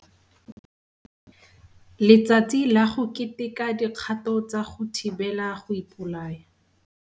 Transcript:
Letsatsi la go Keteka Dikgato tsa go Thibela go Ipolaya